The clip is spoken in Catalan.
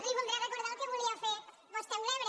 li voldré recordar el que volia fer vostè amb l’ebre